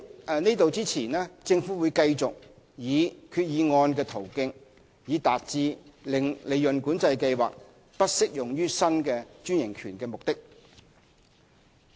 在此之前，政府會繼續以決議案的途徑，以達致令利潤管制計劃不適用於新專營權的目的。